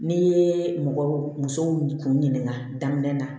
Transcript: N'i ye mɔgɔ muso kun ɲininka daminɛ